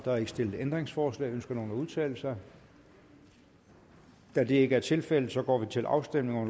er ikke stillet ændringsforslag ønsker nogen at udtale sig da det ikke er tilfældet går vi til afstemning